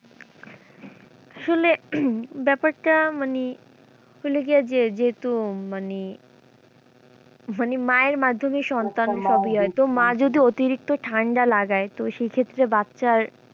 আসলে ব্যাপারটা মানে যেহেতু মানে মানে মায়ের মাধ্যমে সন্তান সবই হয় তো মা যদি অতিরিক্ত ঠাণ্ডা লাগায় তো সেই ক্ষেত্রে বাচ্চার,